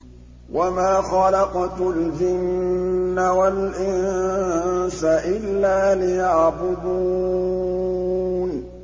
وَمَا خَلَقْتُ الْجِنَّ وَالْإِنسَ إِلَّا لِيَعْبُدُونِ